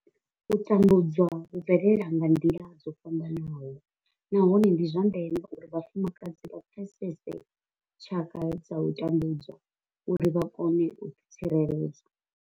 U tambudzwa hu bvelela nga nḓila dzo fhambanaho nahone ndi zwa ndeme uri vhafumakadzi vha pfesese tshaka dza u tambudzwa uri vha kone u ḓi tsireledza.